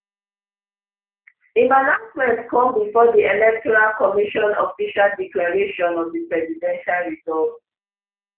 im announcement come bifor di electoral commission official declaration of di presidential result